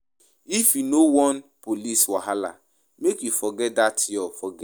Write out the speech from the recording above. If you no wan police wahala, make you forget dat your right.